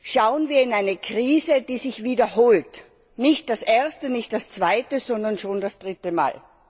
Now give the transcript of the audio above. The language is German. Schauen wir in eine Krise, die sich wiederholt, nicht das erste, nicht das zweite, sondern schon das dritte Mal.